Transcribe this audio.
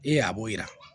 Ee a b'o yira